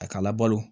A ka labalo